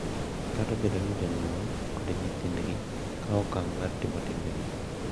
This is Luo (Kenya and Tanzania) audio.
Kata obedo ni jonyuol kod nyithindgi kawo okang’ mar timo timbegi, .